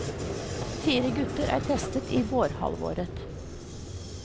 Fire gutter er testet i vårhalvåret.